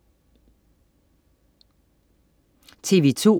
TV2: